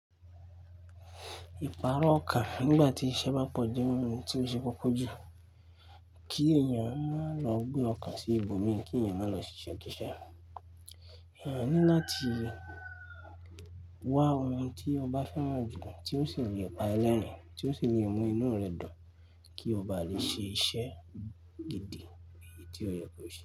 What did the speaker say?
Ìpààrọ̀ ọkà nígbà tí iṣẹ́ bá pọ̀ ju ohun tí ó ṣe kókó jù. Kí èèyàn má lọ gbe ọkàn sí ibòmí, kí èèyàn má lọ sise kiise. Èèyàn ní láti wá ohun tí ọba fẹ́ràn jù, tí ó sì le pa ni lẹ́rìn, tí ó sì le mú inú rẹ̀ dùn, kí ọba lè ṣe iṣẹ́ gidi èyí tí ó yẹ kó ṣe.